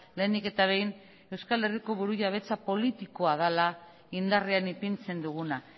lehenik eta behin euskal herriko burujabetza politikoa dela indarrean ipintzen duguna